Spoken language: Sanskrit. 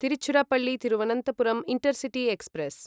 Tiruchirappalli Thiruvananthapuram intercity express